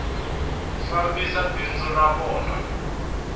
ku fambisa bindzu ra vona